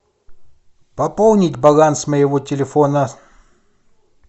пополнить баланс моего телефона